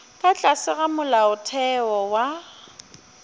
ka tlase ga molaotheo wa